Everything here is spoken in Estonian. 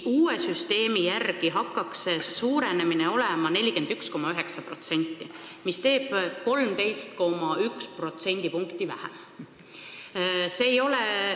Uue süsteemi järgi hakkaks see suurenemine olema 41,9%, mis on 13,1 protsendi võrra vähem.